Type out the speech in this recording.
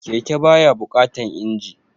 Keke ba ya buƙatan injin